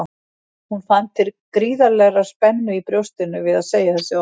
Hún fann til gríðarlegrar spennu í brjóstinu við að segja þessi orð.